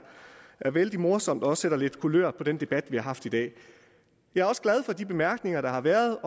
er vældig morsomt og sætter lidt kulør på den debat vi har haft i dag jeg er også glad for de bemærkninger der har været